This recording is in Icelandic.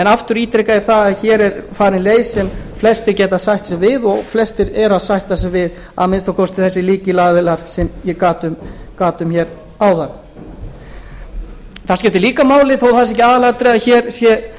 aftur ítreka ég að hér er farin leið sem flestir geta sætt sig við og flestir sætta sig við að minnsta kosti þessir lykilaðilar sem ég gat um áðan það skiptir líka máli þó að það sé ekki aðalatriðið að hér sé